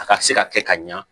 A ka se ka kɛ ka ɲa